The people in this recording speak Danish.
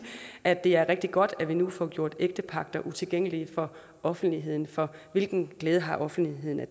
at det er rigtig godt at vi nu får gjort ægtepagter utilgængelige for offentligheden for hvilken glæde har offentligheden af